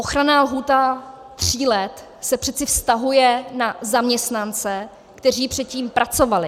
Ochranná lhůta tří let se přece vztahuje na zaměstnance, kteří předtím pracovali.